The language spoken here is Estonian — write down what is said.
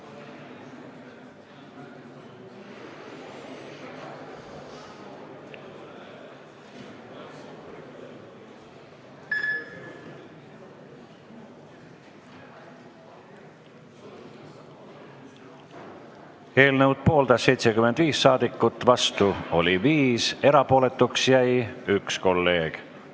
Hääletustulemused Eelnõu pooldas 75 saadikut, vastu oli 5, erapooletuks jäi 1 kolleeg.